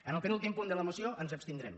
en el penúltim punt de la moció ens abstindrem